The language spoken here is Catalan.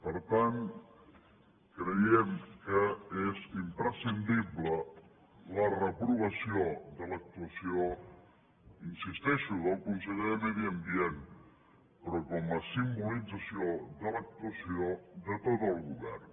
per tant creiem que és imprescindible la reprovació de l’actuació hi insisteixo del conseller de medi ambient però com a simbolització de l’actuació de tot el govern